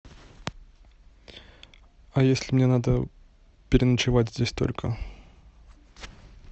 а если мне надо переночевать здесь только